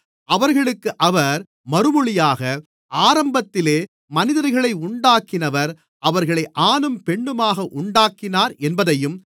அவர்களுக்கு அவர் மறுமொழியாக ஆரம்பத்திலே மனிதர்களை உண்டாக்கினவர் அவர்களை ஆணும் பெண்ணுமாக உண்டாக்கினார் என்பதையும்